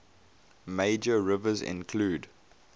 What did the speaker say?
major rivers include